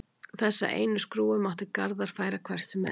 Þessa einu skrúfu mátti Garðar færa hvert sem er.